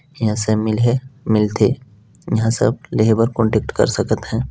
यहाँ से मिल है मिल थे यहाँ सब लेहे बर कांटेक्ट कर सकत है।